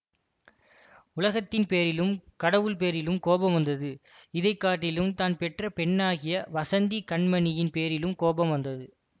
உலகத்தின் பேரிலும் கடவுள் பேரிலும் கோபம் வந்தது இதை காட்டிலும் தான் பெற்ற பெண்ணாகிய வஸந்தி கண்மணியின் பேரிலும் கோபம் வந்தது